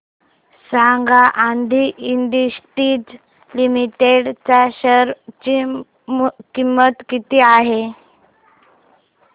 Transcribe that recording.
सांगा Adi industries limited च्या share ची किंमत किती आहे